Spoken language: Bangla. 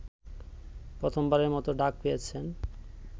প্রথমবারের মতো ডাক পেয়েছেন